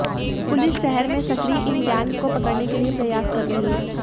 police शहर में सक्रिय इन गैंग को पकड़ने के लिए प्रयास कर रही है